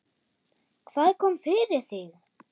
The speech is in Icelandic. Hvað kom fyrir þig?